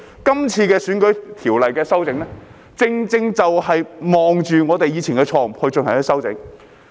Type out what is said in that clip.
今次有關選舉條例的修訂，正正就是看着我們以往的錯誤進行修訂。